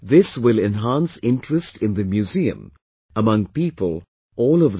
This will enhance interest in the museum among people all over the country